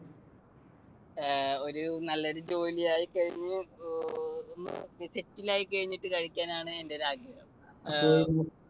ഏർ ഒരു നല്ലൊരു ജോലി ആയിക്കഴിഞ്ഞു അഹ് settle ആയി കഴിഞ്ഞിട്ട് കഴിക്കാനാണ് എന്റെയൊരു ആഗ്രഹം.